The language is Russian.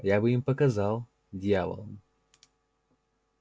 я бы им показал дьяволам